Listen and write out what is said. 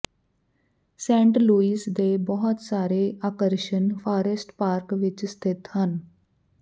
Saint Louis ਦੇ ਬਹੁਤ ਸਾਰੇ ਆਕਰਸ਼ਣ ਫਾਰੈਸਟ ਪਾਰਕ ਵਿੱਚ ਸਥਿਤ ਹਨ